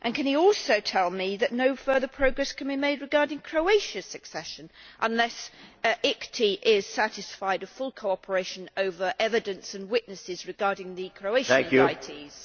Can he also tell me that no further progress can be made regarding Croatia's accession unless the ICTY is satisfied that there is full cooperation over evidence and witnesses regarding the Croatian invitees?